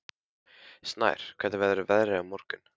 Snær, hvernig verður veðrið á morgun?